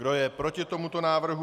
Kdo je proti tomuto návrhu?